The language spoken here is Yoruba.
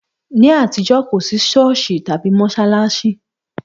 Ní àtijọ́, kò sí Sọ́ọ̀sì tàbí mọ́ṣáláṣí.